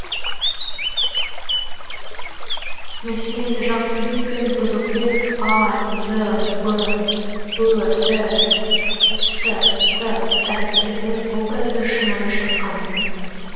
мәселен жақсыбек пен бұзықбек а з б ө і с т әріптерінің образы шынайы шыққан